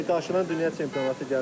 İndi qarşıda dünya çempionatı gəlir.